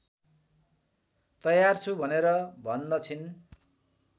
तयार छु भनेर भन्दछिन्